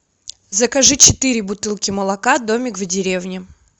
закажи четыре бутылки молока домик в деревне